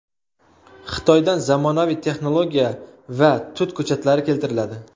Xitoydan zamonaviy texnologiya va tut ko‘chatlari keltiriladi.